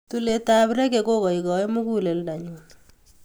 Tulet ap reggae kokaikaiyo mukuleldo nyuu